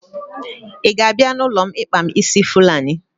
Ị ga-abịa n'ụlọ m ịkpa m ísí Fulani?